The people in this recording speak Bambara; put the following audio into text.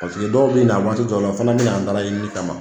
Paseke dɔw be na waati dɔw la o fɛnɛ b e na an dala ɲininin kama